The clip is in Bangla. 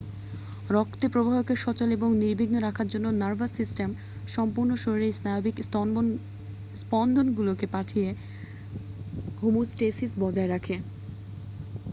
রক্তের প্রবাহকে সচল ও নির্বিঘ্ন রাখার জন্য নার্ভাস সিস্টেম সম্পূর্ণ শরীরে স্নায়বিক স্পন্দনগুলো পাঠিয়ে হোমোস্টেসিস বজায় রাখে